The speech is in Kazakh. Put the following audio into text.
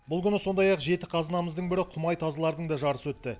бұл күні сондай ақ жеті қазынамыздың бірі құмай тазылардың да жарысы өтті